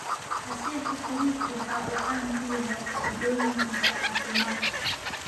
Casiirka furuutku waxa uu caan ku yahay faa�idooyinkiisa caafimaad.